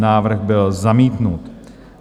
Návrh byl zamítnut.